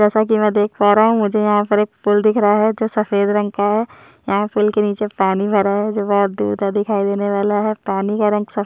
जैसा की मै देख पा रहा हूँ मुझे यहाँ पर एक पुल दिख रहा है जो सफ़ेद रंग का है यहाँ पुल के निचे पानी भरा है जो बहुत दूर तक दिखाई देने वाला है पानी का रंग सफ़ेद --